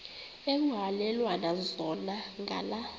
ekuhhalelwana zona ngala